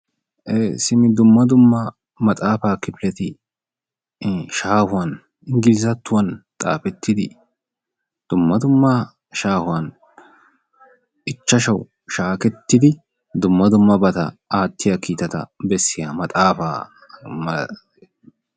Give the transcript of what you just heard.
ee simi dumma dumma maxaafa kifileti shaahuwan engilzattuwan xaafettidi dumma dumma shaahuwan ichchashawu shaakettidi dumma dummabata aattiya kiitata bessiya maxaafa malates.